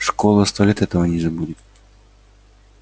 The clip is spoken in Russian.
школа сто лет этого не забудет